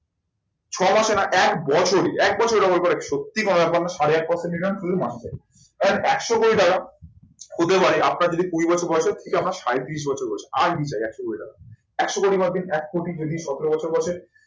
ছয় মাসে না এক বছরে, এক বছরে double করা সত্যি কোনো ব্যাপার না, সাড়ে আট percent return এই একশো কোটি টাকা হতে পারে আপনার যদি কুড়ি বছর বয়স থেকে সাঁইত্রিশ বছর বয়সে, আর কি চাই? একশো কোটি টাকা।